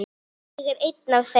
Ég er ein af þeim.